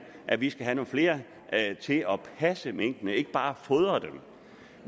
at vi skal have nogle flere til at passe minkene ikke bare fodre dem